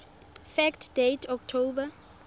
fact date october